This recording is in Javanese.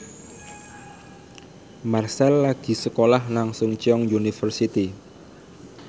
Marchell lagi sekolah nang Chungceong University